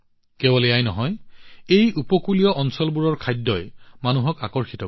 কেৱল এয়াই নহয় এই উপকূলীয় অঞ্চলবোৰৰ খাদ্যই বহুলোকক আকৰ্ষিত কৰে